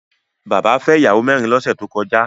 Bàbá fẹ́ ìyàwó mẹ́rin lọ́sẹ̀ tó kọjá